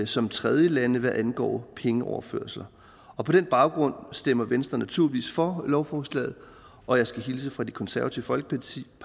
som tredjelande hvad angår pengeoverførsler og på den baggrund stemmer venstre naturligvis for lovforslagene og jeg skal hilse fra det konservative folkeparti